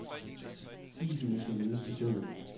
Isene skal nydes på stedet.